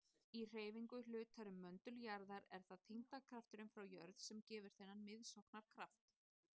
Í hreyfingu hlutar um möndul jarðar er það þyngdarkrafturinn frá jörð sem gefur þennan miðsóknarkraft.